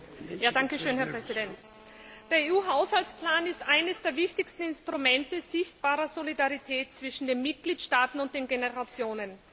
Der EU Haushaltsplan ist eines der wichtigsten Instrumente sichtbarer Solidarität zwischen den Mitgliedstaaten und den Generationen gerade in diesen Krisenzeiten.